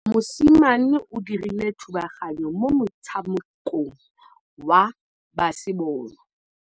Mosimane o dirile thubaganyô mo motshamekong wa basebôlô.